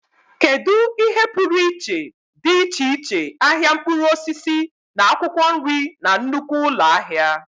Kedu ihe pụrụ iche dị iche iche ahịa mkpụrụ osisi na akwụkwọ nri na nnukwu ụlọ ahịa?